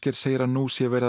segir að nú sé að